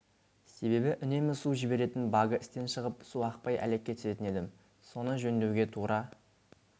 себебі үнемі су жіберетін багы істен шығып су ақпай әлекке түсетін едім соны жөндеуге тура